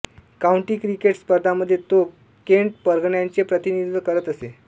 county cricket स्पर्धांमध्ये तो Kent परगण्याचे प्रतिनिधित्व करत असे